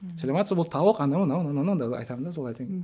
сәлеметсіз бе бұл тауық анау мынау айтамын да солай етемін